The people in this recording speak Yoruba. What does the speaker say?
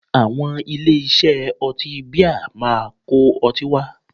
Àwọn ilé-iṣẹ́ ọtí bíà máa kó ọtí wá